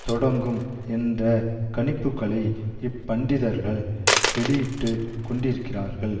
தொடங்கும் என்ற கணிப்புக்களை இப்பண்டிதர்கள் வெளியிட்டு கொண்டிருக்கிறார்கள்